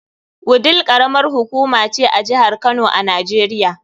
Wudil karamar hukuma ce a jihar Kano a Najeriya.